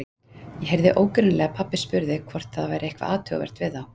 Ég heyrði ógreinilega að pabbi spurði hvort það væri eitthvað athugavert við þá.